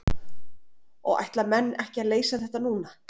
Og ætla menn ekki að leysa þetta núna?